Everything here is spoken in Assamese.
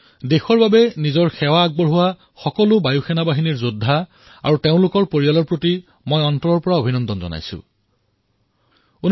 দেশৰ বাবে নিজৰ সেৱা প্ৰদান কৰা সকলো বায়ু যোদ্ধা আৰু তেওঁলোকৰ পৰিয়ালক মই নিজৰ হৃদয়ৰ গভীৰৰ পৰা অভিনন্দন জ্ঞাপন কৰিছোঁ